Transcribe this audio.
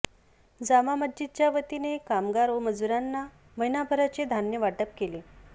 जामा मस्जिदच्यावतीने कामगार व मजुरांना महिनाभराचे धान्य वाटप केले